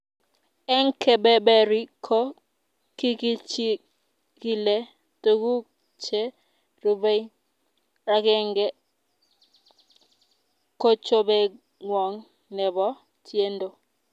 eng kebeberi ko kikichikile tukuk che rubei, akenge ko chobengwong ne bo tiendo.